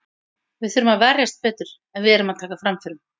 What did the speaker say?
Við þurfum að verjast betur, en við erum að taka framförum.